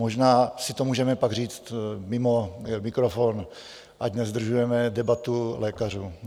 Možná si to můžeme pak říct mimo mikrofon, ať nezdržujeme debatu lékařů.